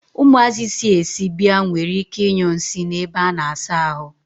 Umuazi si esi bia nwere ike I nyu nsi n'ebe a na-asa ahu.